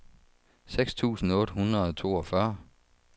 seks tusind otte hundrede og toogfyrre